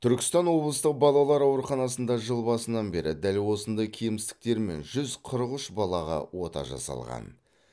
түркістан облыстық балалар ауруханасында жыл басынан бері дәл осындай кемістіктермен жүз қырық үш балаға ота жасалған